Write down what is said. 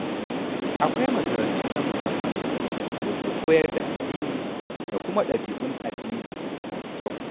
Akwai makarantu na musamman da ke koyar da addini da kuma ɗabi’un addini masu kyau.